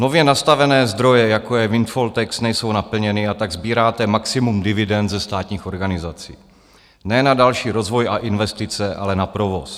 Nově nastavené zdroje, jako je windfall tax, nejsou naplněny, a tak sbíráte maximum dividend ze státních organizací ne na další rozvoj a investice, ale na provoz.